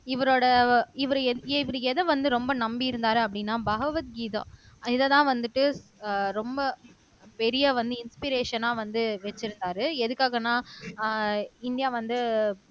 இவரோட இவரு எத இவரு எத வந்து ரொம்ப நம்பி இருந்தாரு அப்படின்னா பகவத் கீதா இதத்தான் வந்துட்டு அஹ் ரொம்ப பெரிய வந்து இன்ஸ்பிரஷன்னா வந்து வெச்சிருந்தாரு எதுக்காகன்னா அஹ் இந்தியா வந்து